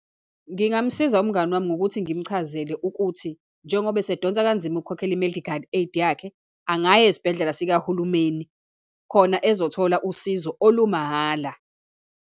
Ngingamsiza umngani wami ngokuthi ngimchazele ukuthi, njengoba esedonsa kanzima ukhokhela i-medical aid yakhe, angaya esibhedlela sikahulumeni, khona ezothola usizo olumahala.